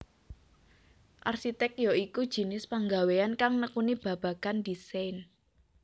Arsitèk ya iku jinis panggawéyan kang nekuni babagan desain